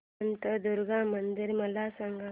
शांतादुर्गा मंदिर मला सांग